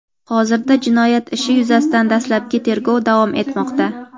hozirda jinoyat ishi yuzasidan dastlabki tergov davom etmoqda.